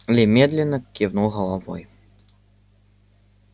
ли медленно кивнул головой